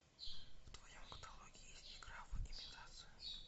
в твоем каталоге есть игра в имитацию